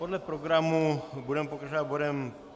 Podle programu budeme pokračovat bodem